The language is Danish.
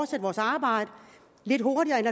til vores arbejde lidt hurtigere end